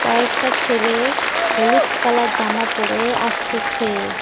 কয়েকটা ছেলে হলুদ কালার জামা পরে আসতেছে।